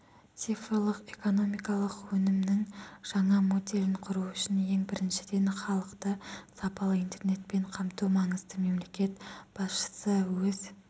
цифрлық-экономикалық өсімнің жаңа моделін құру үшін ең біріншіден халықты сапалы интернетпен қамту маңызды мемлекет басшысы өз